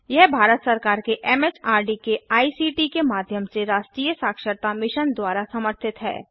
यह भारत सरकार के एमएचआरडी के आईसीटी के माध्यम से राष्ट्रीय साक्षरता मिशन द्वारा समर्थित है